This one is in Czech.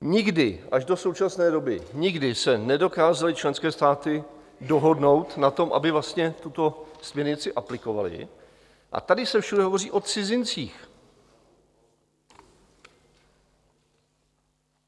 Nikdy, až do současné doby, nikdy se nedokázaly členské státy dohodnout na tom, aby vlastně tuto směrnici aplikovaly, a tady se všude hovoří o cizincích.